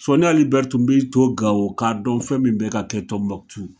Sɔni Ali BɛrI tun b'i to Gawo k'a dɔn fɛn min bɛ ka kɛ Tɔnbukutu.